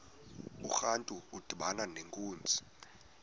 urantu udibana nenkunzi